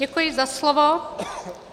Děkuji za slovo.